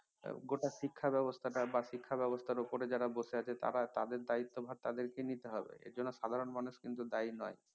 গোটা শিক্ষা ব্যাবস্থাটা বা শিক্ষা ব্যাবস্থার উপরে যারা বসে আছে তারা তাদের দায়িত্ব ভার তাদের কে নিতে হবে এর জন্য সাধারণ মানুষ কিন্তু দায়ী নয়